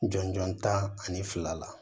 Jɔnjɔn ta ani fila la